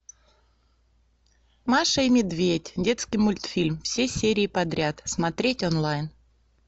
маша и медведь детский мультфильм все серии подряд смотреть онлайн